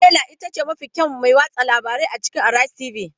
Stella ita ce mafi kyawun mai watsa labarai a cikin Arise tv.